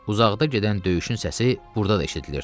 Uzaqda gedən döyüşün səsi burda da eşidilirdi.